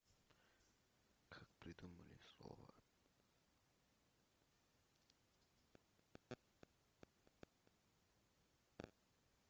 как придумали слово